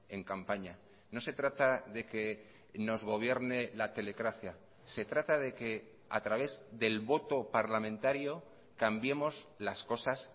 en campaña no se trata de que nos gobierne la telecracia se trata de que a través del voto parlamentario cambiemos las cosas